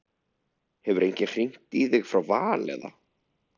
Hefur enginn hringt í þig frá Val eða?